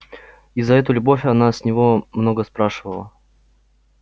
и за эту любовь она с него много спрашивала